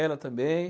Ela também.